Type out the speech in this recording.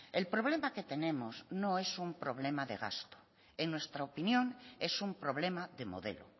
el problema que tenemos no es un problema de gasto en nuestra opinión es un problema de modelo